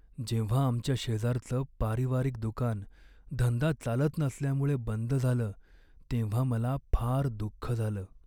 जेव्हा आमच्या शेजारचं पारिवारिक दुकान धंदा चालत नसल्यामुळे बंद झालं तेव्हा मला फार दुःख झालं.